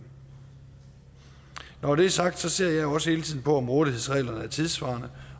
når det er sagt ser jeg jo også hele tiden på om rådighedsreglerne er tidssvarende